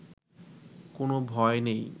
কোনো ভয় নেই